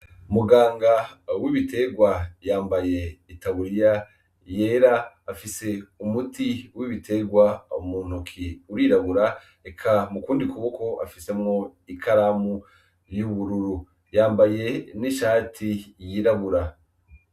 Muganga w'ibitegwa yambaye itaburiya yera afise umuti w'ibitegwa mu ntoki urirabura, eka mu kundi kuboko afisemwo ikaramu y'ubururu, yambaye n'ishati yirabura.